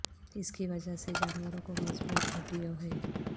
اس کی وجہ سے جانوروں کو مضبوط ہڈیوں ہے